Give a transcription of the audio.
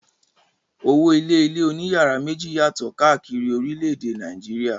Owó-ilé ilé oníyàrá méjì yàtọ̀ káàkiri orílẹ̀-èdè Nàìjíríà.